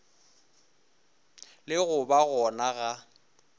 le go ba gona ga